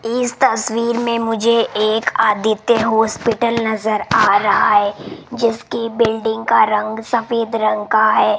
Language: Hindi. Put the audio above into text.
इस तस्वीर मे मुझे एक आदित्य हॉस्पिटल नज़र आ रहा है जिसकी बिल्डिंग का रंग सफेद रंग का है।